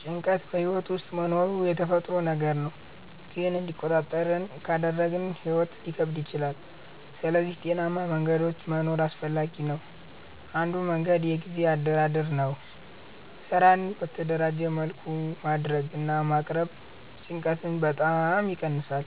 ጭንቀት በሕይወት ውስጥ መኖሩ የተፈጥሮ ነገር ነው፣ ግን እንዲቆጣጠር ካልተደረገ ሕይወት ሊከብድ ይችላል። ስለዚህ ጤናማ መንገዶች መኖር አስፈላጊ ነው። አንዱ መንገድ የጊዜ አደራደር ነው። ስራን በተደራጀ መልኩ ማድረግ እና ማቅረብ ጭንቀትን በጣም ይቀንሳል።